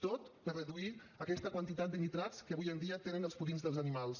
tot per reduir aquesta quantitat de nitrats que avui dia tenen els purins dels animals